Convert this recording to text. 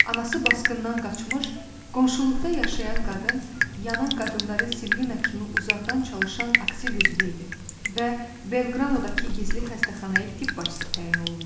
Anası basqından qaçmış, qonşuluqda yaşayan qadın yanan qadınların Silvina kimi uzaqdan çalışan aktiv üzvü idi və Belqranodakı gizli xəstəxanaya tibb başçısı təyin olunmuşdu.